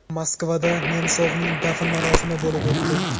Moskvada Nemsovning dafn marosimi bo‘lib o‘tdi.